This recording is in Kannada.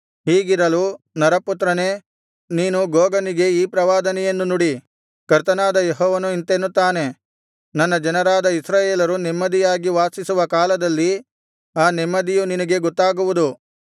ಹೀಗಿರಲು ನರಪುತ್ರನೇ ನೀನು ಗೋಗನಿಗೆ ಈ ಪ್ರವಾದನೆಯನ್ನು ನುಡಿ ಕರ್ತನಾದ ಯೆಹೋವನು ಇಂತೆನ್ನುತ್ತಾನೆ ನನ್ನ ಜನರಾದ ಇಸ್ರಾಯೇಲರು ನೆಮ್ಮದಿಯಾಗಿ ವಾಸಿಸುವ ಕಾಲದಲ್ಲಿ ಆ ನೆಮ್ಮದಿಯು ನಿನಗೆ ಗೊತ್ತಾಗುವುದು